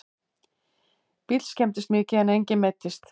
Bíll skemmdist mikið en enginn meiddist